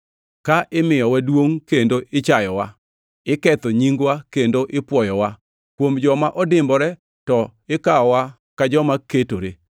ka imiyowa duongʼ kendo ichayowa; iketho nyingwa kendo ipwoyowa, kuom joma odimbore to ikawowa ka joma ketore;